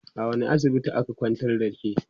a wani asibitin aka kwantar da ke?